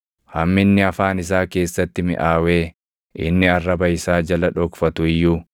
“Hamminni afaan isaa keessatti miʼaawee inni arraba isaa jala dhokfatu iyyuu,